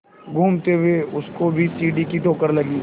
घूमते हुए उसको भी सीढ़ी की ठोकर लगी